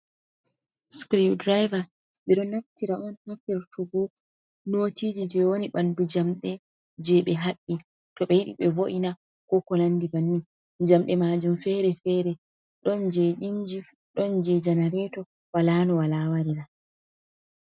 Screw driver ɓe ɗo naftira on ha firtugu notiji je woni bandu jamde, je ɓe haɓbi to ɓe yiɗi ɓe vo’ina ko ko landi bannin jamɗe maajum fere-fere ɗon je inji ɗon je janareto walanu wala warira.